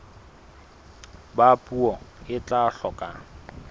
ba puo e tla hloka